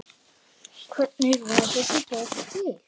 Hvernig varð þessi bók til?